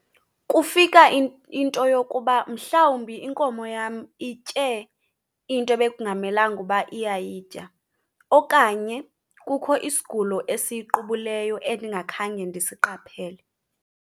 Kufika into yokuba mhlawumbi inkomo yam itye into ebekungamelanga uba iyayitya okanye kukho isigulo esiyiqubuleyo endingakhange ndisiqaphele.